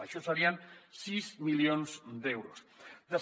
això serien sis milions d’euros